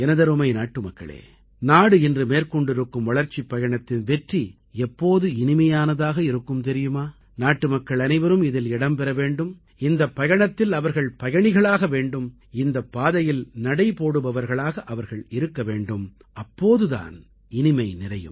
எனதருமை நாட்டுமக்களே நாடு இன்று மேற்கொண்டிருக்கும் வளர்ச்சிப் பயணத்தின் வெற்றி எப்போது இனிமையானதாக இருக்கும் தெரியுமா நாட்டுமக்கள் அனைவரும் இதில் இடம்பெற வேண்டும் இந்தப் பயணத்தில் அவர்கள் பயணிகளாக வேண்டும் இந்தப் பாதையில் நடைபோடுபவர்களாக அவர்கள் இருக்க வேண்டும் அப்போது தான் இனிமை நிறையும்